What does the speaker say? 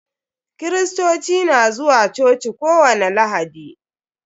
Kirirstoci na zuwa coci ko wani lahadi.